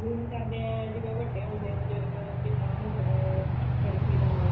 ਮਿਲਣੀਆਂ ਕਰਦੇ ਆਂ ਜਿਵੇਂ ਵੱਡੇ ਹੁੰਦੇ ਨੇ ਬਜੁਰਗ ਪਿਤਾ ਹੁੰਦਾ ਹੈ ਲੜਕੀ ਦਾ ਮਾਮਾ